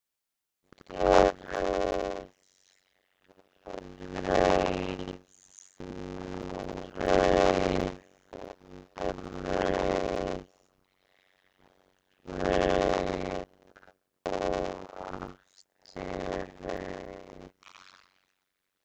Ný öld er rauð, rauð, rauð, rauð, rauð og aftur rauð?